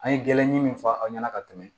An ye gɛlɛndi min fɔ aw ɲɛna ka tɛmɛ